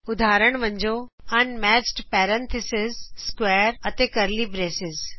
ਉਦਾਹਰਣ ਵਜੋਂ unmatched parenthesis square ਅਤੇcurly ਬ੍ਰੇਸਾਂ